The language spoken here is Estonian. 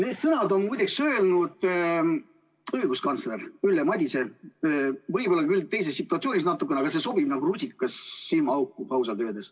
" Need sõnad on öelnud õiguskantsler Ülle Madise, võib-olla küll natukene teises situatsioonis, aga ausalt öeldes see sobib nagu rusikas silmaauku.